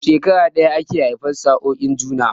A shekara ɗaya ake haifan sa'oin juna